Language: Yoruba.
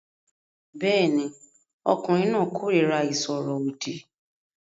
Bẹ́ẹ̀ ni, ọkùnrin náà kórìíra ìsọ̀rọ̀ òdì